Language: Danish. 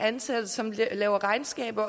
ansatte som laver regnskaber